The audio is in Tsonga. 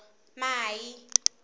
mai